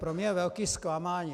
Pro mě je velké zklamání.